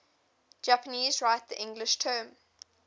japanese write the english term